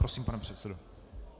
Prosím, pane předsedo.